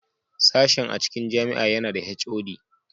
Sashen a cikin jami'a yana da (HOD)